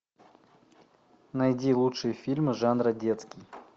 найди лучшие фильмы жанра детский